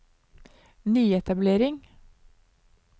nyetablering